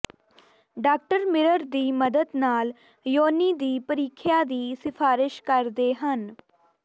doctor mirror ਦੀ ਮਦਦ ਨਾਲ ਯੋਨੀ ਦੀ ਪ੍ਰੀਖਿਆ ਦੀ ਸਿਫਾਰਸ਼ ਕਰਦੇ ਹਨ